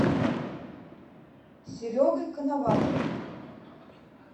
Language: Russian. серегой коноваловым